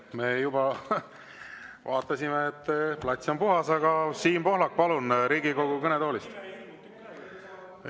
Me juba vaatasime, et plats on puhas, aga Siim Pohlak, palun, Riigikogu kõnetoolist!